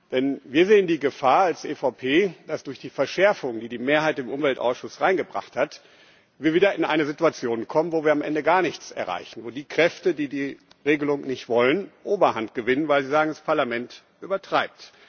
Denn wir als EVP sehen die Gefahr, dass wir durch die Verschärfung, die die Mehrheit im Umweltausschuss eingebracht hat, wieder in eine Situation kommen, wo wir am Ende gar nichts erreichen, wo die Kräfte, die die Regelung nicht wollen, Oberhand gewinnen, weil sie sagen, das Parlament übertreibt.